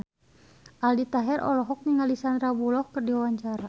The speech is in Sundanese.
Aldi Taher olohok ningali Sandar Bullock keur diwawancara